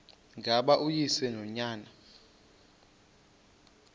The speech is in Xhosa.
ngaba uyise nonyana